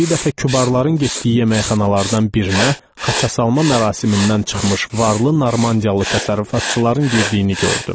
Bir dəfə kübarların getdiyi yeməkxanalardan birinə xaça salma mərasimindən çıxmış varlı normandiyalı təsərrüfatçıların girdiyini gördüm.